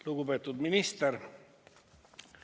Lugupeetud minister!